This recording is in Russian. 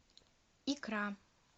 икра